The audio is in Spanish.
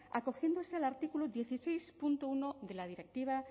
acogiéndose al artículo dieciséis punto uno de la directiva